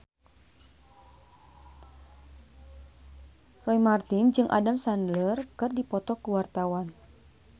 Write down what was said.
Roy Marten jeung Adam Sandler keur dipoto ku wartawan